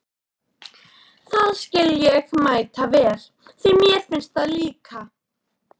Það skil ég mætavel, því mér finnst það líka!